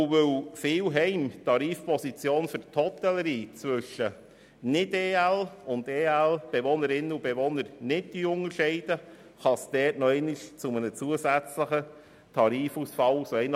Weil viele Heime betreffend die Position für die Hotellerie nicht zwischen Bezügern und Bezügerinnen von Ergänzungsleistungen (EL) und Nicht-EL-Bezügerinnen und -Bezügern unterscheiden, kann es zu einem weiteren Tarifausfall kommen.